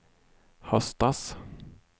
höstas